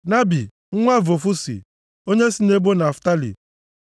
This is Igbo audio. Nabi nwa Vofusi, onye si nʼebo Naftalị.